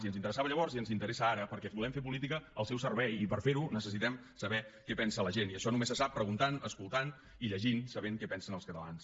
i ens interessava llavors i ens interessa ara perquè volem fer política al seu servei i per fer ho necessitem saber què pensa la gent i això només se sap preguntant escoltant i llegint sabent què pensen els catalans